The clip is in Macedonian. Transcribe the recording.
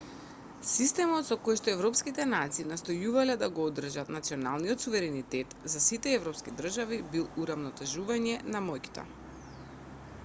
системот со којшто европските нации настојувале да го одржат националниот суверенитет на сите европски држави бил урамнотежување на моќта